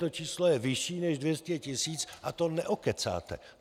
To číslo je vyšší než 200 tisíc a to neokecáte.